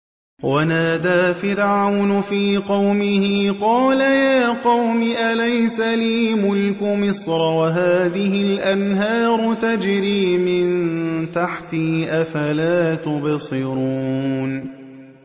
وَنَادَىٰ فِرْعَوْنُ فِي قَوْمِهِ قَالَ يَا قَوْمِ أَلَيْسَ لِي مُلْكُ مِصْرَ وَهَٰذِهِ الْأَنْهَارُ تَجْرِي مِن تَحْتِي ۖ أَفَلَا تُبْصِرُونَ